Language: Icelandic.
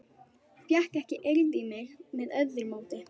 Fékk ekki eirð í mig með öðru móti.